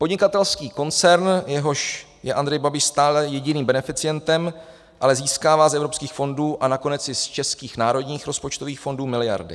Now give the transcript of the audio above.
Podnikatelský koncern, jehož je Andrej Babiš stále jediným beneficientem, ale získává z evropských fondů a nakonec i z českých národních rozpočtových fondů miliardy.